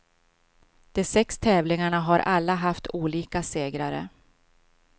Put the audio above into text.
De sex tävlingarna har alla haft olika segrare.